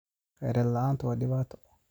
Khayraad la'aantu waa dhibaato.